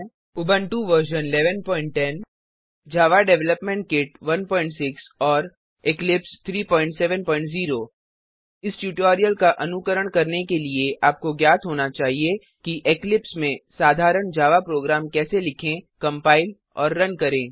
Ubuntu version 1110 Java development kit 16 और Eclipse 370 इस tutorial का अनुकरण करने के लिए आपको ज्ञात होना चाहिए कि इक्लिप्स में साधारण जावा प्रोग्राम कैसे लिखें कंपाइल और रन करें